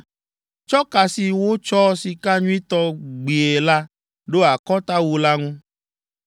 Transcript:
Tsɔ ka si wotsɔ sika nyuitɔ gbie la ɖo akɔtawu la ŋu.